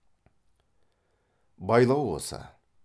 байлау осы